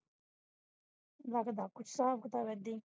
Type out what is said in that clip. ਲਗਦਾ ਕੁਝ ਹਿਸਾਬ-ਕਿਤਾਬ ਏਦਾਂ ਹੀ